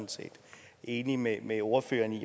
enig med med ordføreren i